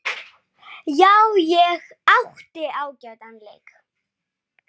Já, ég átti ágætan leik.